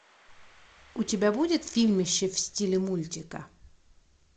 у тебя будет фильмище в стиле мультика